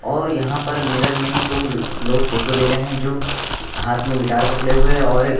और यहां पर मिरर में दो लोग फोटो ले रहे हैं जो हाथ में गिटार पकड़े हुए है और--